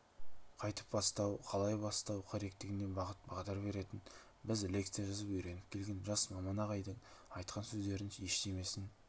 қайтіп бастау қалай бастау керектігіне бағыт-бағдар беретін біз лекция жазып үйреніп келген жас маман ағайдың айтқан сөздерінің ештемесін